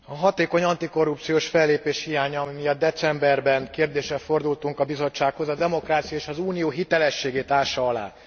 A hatékony antikorrupciós fellépés hiánya ami miatt decemberben kérdéssel fordultunk a Bizottsághoz a demokrácia és az Unió hitelességét ássa alá.